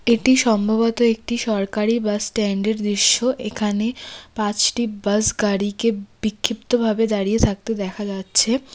এটি সম্ভবত একটি সরকারি বাসস্ট্যান্ডের দৃশ্য এখানে পাঁচটি বাসগাড়িকে বিক্ষিপ্তভাবে দাঁড়িয়ে থাকতে দেখা যাচ্ছে।